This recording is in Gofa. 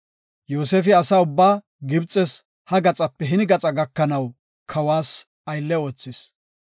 Yoosefi asa ubbaa Gibxes ha gaxape hini gaxa gakanaw kawas aylle oothis.